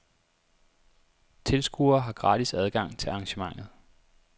Tilskuere har gratis adgang til arrangementet.